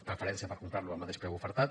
preferència per comprar lo al mateix preu ofertat